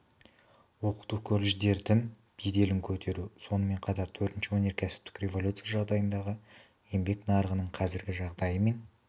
оқыту колледждердің беделін көтеру сонымен қатар төртінші өнеркәсіптік революция жағдайындағы еңбек нарығының қазіргі жағдайы мен